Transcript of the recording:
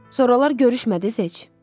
Sonralar görüşmədiniz heç?